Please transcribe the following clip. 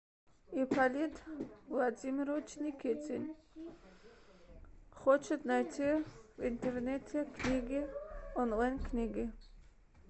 ипполит владимирович никитин хочет найти в интернете книги онлайн книги